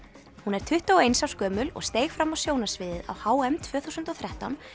hún er tuttugu og eins árs gömul og steig fram á sjónarsviðið á h m tvö þúsund og þrettán